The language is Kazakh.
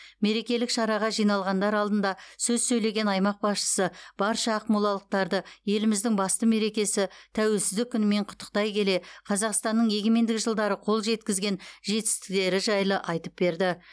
мерекелік шараға жиналғандар алдында сөз сөйлеген аймақ басшысы барша ақмолалықтарды еліміздің басты мерекесі тәуелсіздік күнімен құттықтай келе қазақстанның егемендік жылдары қол жеткізген жетістіктері жайлы айтып берді